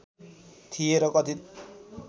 थिए र कथित